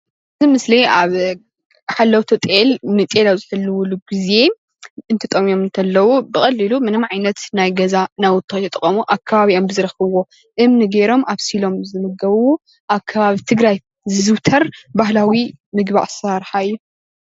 እቲ ምስሊ ሓለውቲ ጤል እንትጠምዮም እንተለዉ ብቐሊሉ ምንም ዓይነት ናይ ገዛ ናውቲ ከይተጠቐሙ ኣብ ከባቢኦም ብዝረኸብዎ እምኒ ገይሮም ኣብሲሎም ዝምገቡ ኣብ ከበቢ ክረምቲ ዝዝውተር ባህላዊ ምግቢ ኣሰራርሓ እዩ፡፡